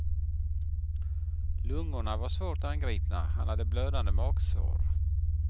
Lungorna var svårt angripna, han hade blödande magsår.